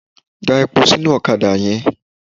Da epo sínú ọ̀kadà yẹn.